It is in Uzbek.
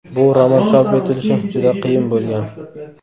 Bu roman chop etilishi juda qiyin bo‘lgan.